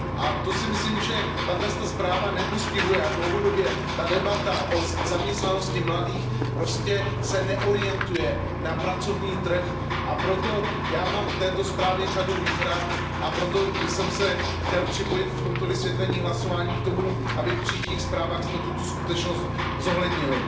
A to si myslím, že tato zpráva nepostihuje, a dlouhodobě ta debata o zaměstnanosti mladých se prostě neorientuje na pracovní trh, a proto já mám k této zprávě řadu výhrad, a proto bych se chtěl připojit v tomto vysvětlení hlasování k tomu, aby v příštích zprávách jsme tuto skutečnost zohlednili.